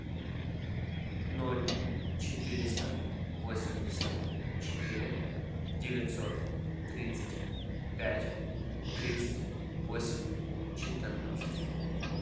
ноль четыреста восемьдесят четыре девятьсот тридцать пять тридцать восемь четырнадцать